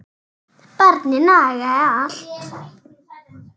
Barnið nagaði allt.